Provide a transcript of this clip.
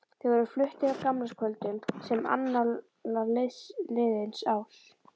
Þeir voru fluttir á gamlaárskvöldum sem annálar liðins árs.